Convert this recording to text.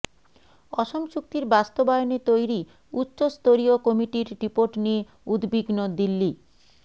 অসম চুক্তির বাস্তবায়নে তৈরি উচ্চ স্তরীয় কমিটির রিপোর্ট নিয়ে উদ্বিগ্ন দিল্লি